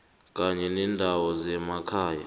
kanye nendawo zemakhaya